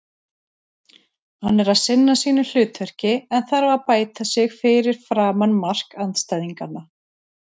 Hann er að sinna sínu hlutverki en þarf að bæta sig fyrir framan mark andstæðinganna.